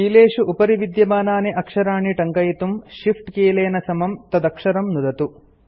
कीलेषु उपरि विद्यमानानि अक्षराणि टङ्कयितुं Shift कीलेन समं तदक्षरं नुदतु